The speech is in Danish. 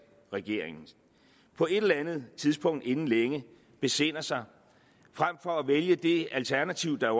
regeringens på et eller andet tidspunkt inden længe besinder sig frem for at vælge det alternativ der